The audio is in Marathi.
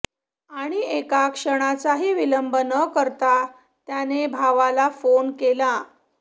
आणि एका क्षणाचाही विलंब न करता त्याने भावाला फोन केला